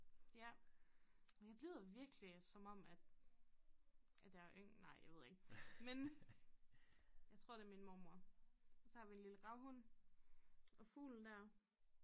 Ja jeg lyder virkelig som om at at jeg er nej jeg ved ikke men jeg tror det min mormor og så har vi en lille gravhund og fuglen dér